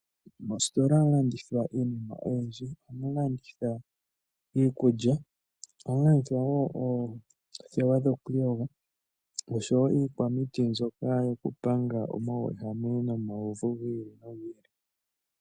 Moositola ohamu landithwa iinima oyindji. Ohamu landithwa iikulya, ohamu landithwa wo oothewa dhoku iyoga, oshowo iikwamiti mbyoka yokupanga omauwehame nomauvu gi ili nogi ili.